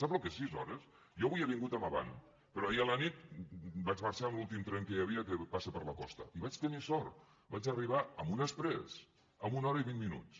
sap el que són sis hores jo avui he vingut amb avant però ahir a la nit vaig marxar amb l’últim tren que hi havia que passa per la costa i vaig tenir sort vaig arribar amb un exprés en una hora i vint minuts